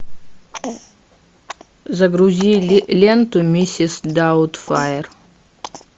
загрузи ленту миссис даутфайр